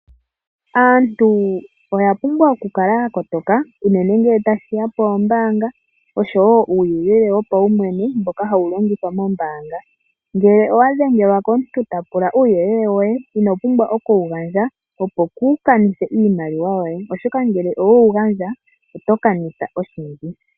Aantu oya pumbwa oku kala yakotoka unene ngele tashiya pombaanga oshowo uuyelele wopawumwene mboka hawu longithwa moombaanga. Ngele owa dhengelwa komuntu tapula uuyelele woye ino pumbwa oku gandja opo kuu kanithe iimaliwa yoye oshoka ngele owe wu gandja oto kanitha oshindji.